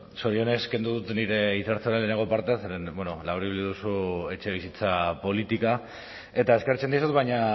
zorionez kendu dut hitza hartzearen lehenengo parte zeren bueno laburbildu duzu etxebizitza politika eta eskertzen dizut baina